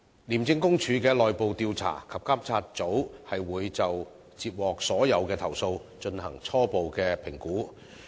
廉政公署的內部調查及監察組會就接獲的所有投訴，進行初步評估。